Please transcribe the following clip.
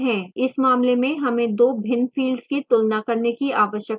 इस मामले में हमें दो भिन्न fields की तुलना करने की आवश्यकता है